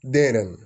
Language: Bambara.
Den yɛrɛ mɔ